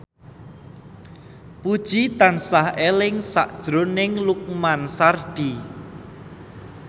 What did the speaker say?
Puji tansah eling sakjroning Lukman Sardi